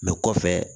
kɔfɛ